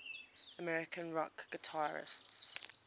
american rock guitarists